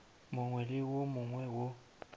mongwe le wo mongwe wo